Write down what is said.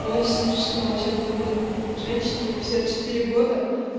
очень смешно сейчас бы блин женщине пятьдесят четыре года